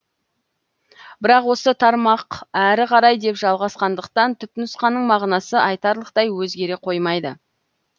бірақ осы тармақ әрі қарай деп жалғасқандықтан түпнұсқаның мағынасы айтарлықтай өзгере қоймайды